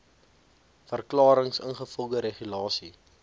verklarings ingevolge regulasie